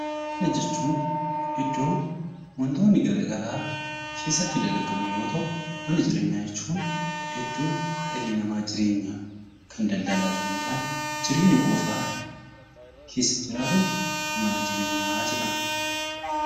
Mana jechuun iddoo wantoonni gara garaa keessatti dalagamu yoo ta'u; Mana jireenyaa jechuun iddoo dhalli namaa jireenyaaf, daldalaaf osoo hin taane jireenya qofaaf keessa jiraatu 'Mana jireenyaa' jedhama.